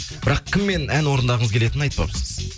бірақ кіммен ән орындағыңыз келетінін айтпапсыз